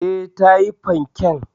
E, ta yi fanken.